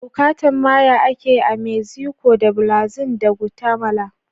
Yucatec Maya ake yi a Mexico da Belize da Guatemala